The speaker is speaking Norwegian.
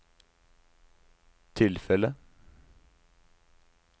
tilfellet